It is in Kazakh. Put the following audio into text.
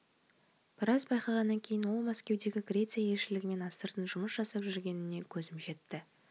біраз байқағаннан кейін ол мәскеудегі греция елшілігімен астыртын жұмыс жасап жүргеніне көзім жетті